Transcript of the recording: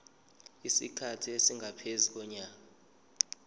isikhathi esingaphezu konyaka